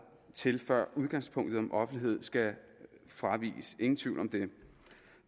til før udgangspunktet om offentlighed skal fraviges ingen tvivl om det